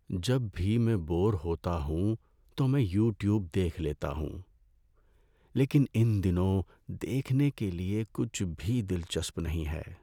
جب بھی میں بور ہوتا ہوں تو میں یوٹیوب دیکھ لیتا ہوں۔ لیکن ان دنوں دیکھنے کے لیے کچھ بھی دلچسپ نہیں ہے۔